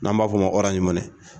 N'an b'a fɔ o ma